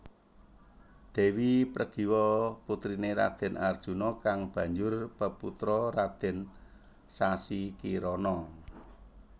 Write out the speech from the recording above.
Dèwi Pregiwa putriné Raden Arjuna kang banjur peputra Raden Sasikirana